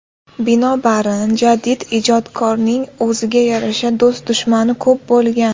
Binobarin, jadid ijodkorning o‘ziga yarasha do‘st-dushmani ko‘p bo‘lgan.